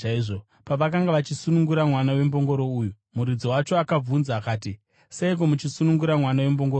Pavakanga vachisunungura mwana wembongoro uyu, muridzi wacho akavabvunza akati, “Seiko muchisunungura mwana wembongoro uyu?”